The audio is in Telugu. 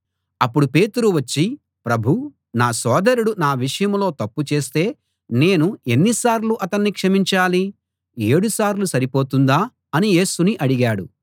అప్పుడు పేతురు వచ్చి ప్రభూ నా సోదరుడు నా విషయంలో తప్పు చేస్తే నేను ఎన్నిసార్లు అతణ్ణి క్షమించాలి ఏడు సార్లు సరిపోతుందా అని యేసుని అడిగాడు